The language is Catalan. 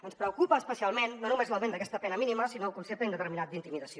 ens preocupa especialment no només l’augment d’aquesta pena mínima sinó el concepte indeterminat d’intimidació